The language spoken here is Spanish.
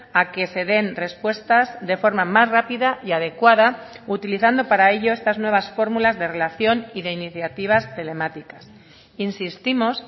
a que se den respuestas de forma más rápida y adecuada utilizando para ello estas nuevas fórmulas de relación y de iniciativas telemáticas insistimos